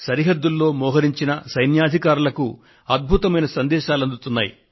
సరిహద్దులను కాపు కాస్తున్న జవానులు సైనికాధికారులు ప్రేమపూర్వకమైన సందేశాలు అందుకుంటున్నారు